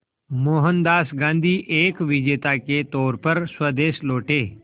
मोहनदास गांधी एक विजेता के तौर पर स्वदेश लौटे